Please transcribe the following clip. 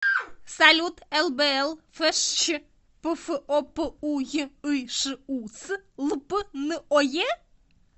салют лбл фщ пфопуйышус лп ное